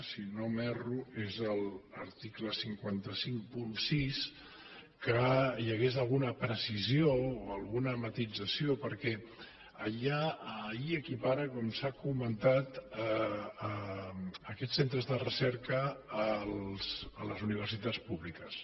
si no m’erro és l’article cinc cents i cinquanta sis que hi hagués alguna precisió o alguna matisació perquè allà s’equiparen com s’ha comentat aquests centres de recerca amb les universitats públiques